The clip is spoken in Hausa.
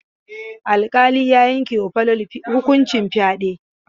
Alƙali ya yanke ma Falalu hukuncin fyaɗe.